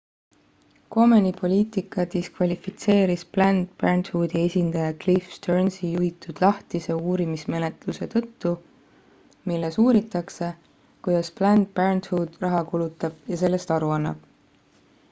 komeni poliitika diskvalifitseeris planned parenthoodi esindaja cliff stearnsi juhitud lahtise uurimismenetluse tõttu milles uuritakse kuidas planned parenthood raha kulutab ja sellest aru annab